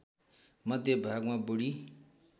मध्य भागमा बुढी